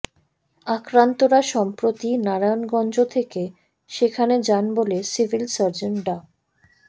আক্রান্তরা সম্প্রতি নারায়ণগঞ্জ থেকে সেখানে যান বলে সিভিল সার্জন ডা